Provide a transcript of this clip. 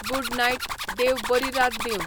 good night, देव बरी रात दींव